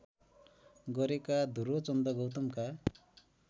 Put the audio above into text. गरेका ध्रुवचन्द्र गौतमका